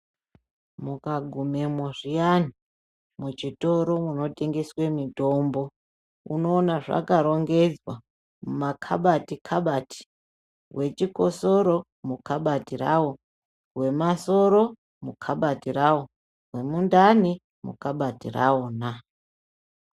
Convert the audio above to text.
Mukagumemo zviyani michitoro munotengeswe mitombo unoona zvakarongedzwa mumakabati kabati, wechikosoro mukabati rawo, wemasoro mukabati rawo, wemundani mukabati rawona.